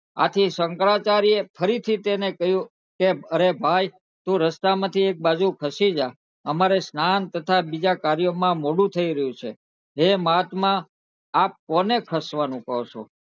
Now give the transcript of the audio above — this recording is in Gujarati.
આથી શંકરાચાર્ય ફરી થી તને કહ્યું કે અરે ભાઈ તું રસ્તા માંથી એક બાજુ ખસી જ અમારે સ્નાન તથા બીજા કાર્ય માં મોડું થઇ રહ્યું છે હે મહાત્મા આપ કોને ખસવાનું કહો છો